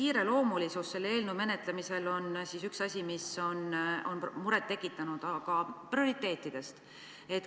Kiireloomulisus selle eelnõu menetlemisel on üks asi, mis on muret tekitanud, aga nüüd prioriteetidest.